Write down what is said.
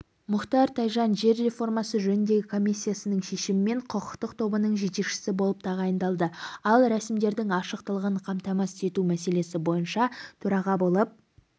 мұхтар тайжан жер реформасы жөніндегі комиссиясының шешімімен құқықтық тобының жетекшісі болып тағайындалды ал рәсімдерлдің ашықтығын қамтамасыз ету мәселесі бойынша төраға болып